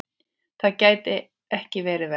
Það gæti ekki verið verra.